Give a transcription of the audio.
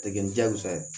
A tɛ kɛ ni diyagosa ye